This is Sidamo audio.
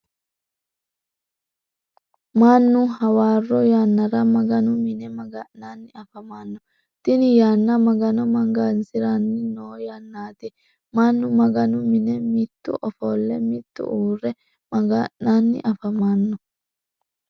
Mannu hawaroo yannara maganu mine maga'nanni afamano tinni yanna magano magansiranni noo yannaati. Mannu maganu mine mitu ofole mitu uure maga'nanni afamano.